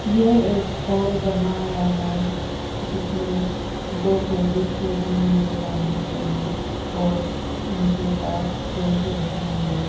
यह एक हॉल बना हुआ है जिसमें दो टेबल्स लगी हुई है लंबी वाली और उनके पास चेयर लगी हुई है।